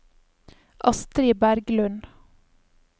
Astri Berglund